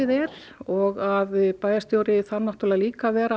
er og að bæjarstjóri þarf náttúrulega líka að vera